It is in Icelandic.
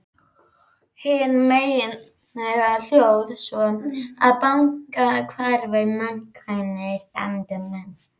Hin meginreglan hljóðar svo: Að baki hverri framkvæmd standa menn.